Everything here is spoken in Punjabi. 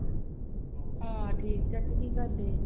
ਹਾਂ ਠੀਕ ਚਾਚੀ, ਤੂੰ ਕੀ ਕਰਦੀ?